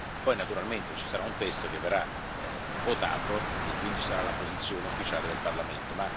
poi naturalmente ci sarà un testo che verrà votato e che sarà quindi la posizione ufficiale del Parlamento.